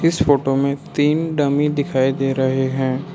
इस फोटो में तीन डम्मी दिखाई दे रहे हैं।